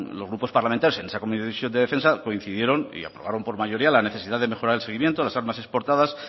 los grupos parlamentarios en esa comisión de defensa coincidieron y aprobaron por mayoría la necesidad de mejorar el seguimiento las armas exportadas